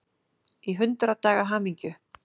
Í hundrað daga hamingju.